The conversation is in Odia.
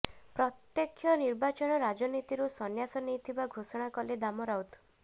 ପ୍ରତ୍ୟେକ୍ଷ ନିର୍ବାଚନ ରାଜନୀତିରୁ ସନ୍ନ୍ୟାସ ନେଇଥିବା ଘୋଷଣା କଲେ ଦାମ ରାଉତ